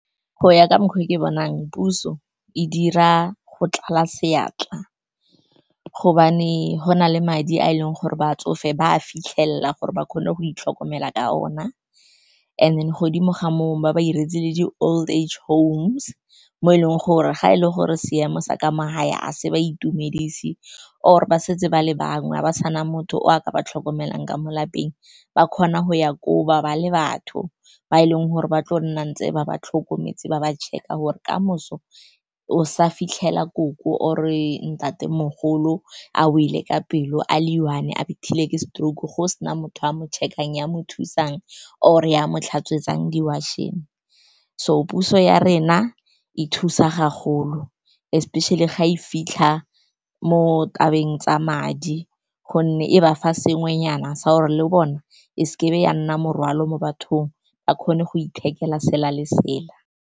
Go ya ka mekgwa e ke bonang, puso e dira go tlala seatla gobane go na le madi a e leng gore batsofe ba a fitlhelela gore ba kgone go itlhokomela ka ona. And then godimo ga moo, ba ba 'iretse le di-old age home, mo e leng gore ga e le gore seemo sa ka mo gae ga se ba itumedise, or ba setse ba le bangwe ba sa na motho yo o ka ba tlhokomelang ka mo lapeng, ba kgona go ya go bale batho ba e leng gore ba tlo nna ntse ba ba tlhokometse, ba ba check-a gore kamoso o sa fitlhela koko or-e ntatemogolo a o wele ka pelo, a le one, a bethile ke stroke, go sena motho a mo check-ang ya mo thusang, or-e ya mo tlhatswe, etsang di-washing. So puso ya rena e thusa ga golo, especially fa e fitlha mo tabeng tsa madi, gonne e ba fa sengwe nyana sa gore le go bona e seke ya nna morwalo mo bathong, ba kgone go ithekela sela le sela.